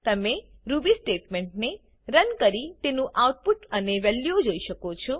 તમે રૂબી સ્ટેટમેંટને રન કરી તેનું આઉટ પુટ અને વેલ્યુઓ જોઈ શકો છો